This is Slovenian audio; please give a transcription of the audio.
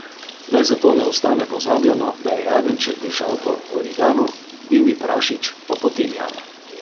Naj zato ne ostane pozabljeno, da je jagenjček dišal po origanu, divji prašič pa po timijanu.